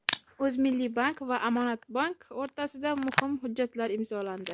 O‘zmilliybank va Amonatbonk o‘rtasida muhim hujjatlar imzolandi.